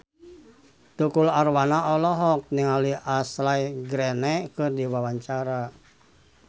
Tukul Arwana olohok ningali Ashley Greene keur diwawancara